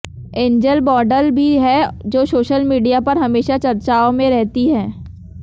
angel model भी है जो सोशल मीडिया पर हमेशा चचार्ओं में रहती है